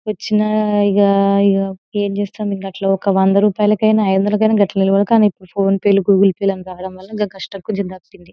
వచ్చిన ఇగ ఇగ ఎం చేస్తాం ఇంకా అట్లా ఒక వంద రూపాయిలకైనా ఐదొందలకైనా కానీ ఇప్పుడు ఫోన్ పే లు గూగుల్ పే లు అని రావడం వాళ్ళ గా కష్టం కొద్దిగా తప్పింది.